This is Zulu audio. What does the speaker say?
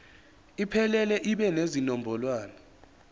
iphelele ibe nezinombolwana